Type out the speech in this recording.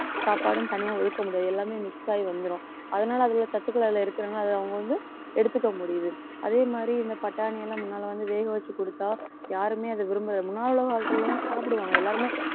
சாப்பாடும் தனியா ஒதுக்க முடியாது எல்லாமே mix ஆயி வந்துரும் அதனால அதுல உள்ள சத்துக்கள் அதுல இருக்கிறதுனால அதை அவங்க வந்து எடுத்துக்க முடியுது. அதே மாதிரி இந்த பட்டாணியெல்லாம் முன்னாலே வந்து வேகவச்சு குடுத்தா யாருமே அதை விரும்பல முன்னால உள்ள காலத்தில உள்ளவங்க சாப்பிடுவாங்க எல்லாருமே